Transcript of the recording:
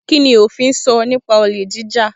Kini ofin sọ nipa olè jíjà?